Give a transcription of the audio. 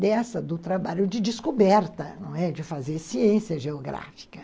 dessa, do trabalho de descoberta, não? de fazer ciência geográfica.